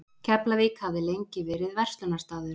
Keflavík hafði lengi verið verslunarstaður.